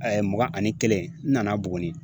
mugan ani kelen n nana Buguni